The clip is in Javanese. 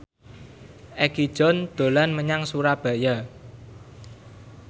Egi John dolan menyang Surabaya